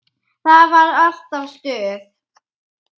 Það var alltaf stuð.